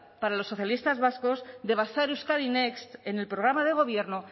para los socialistas vascos de basar euskadi next en el programa de gobierno